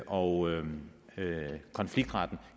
og konfliktretten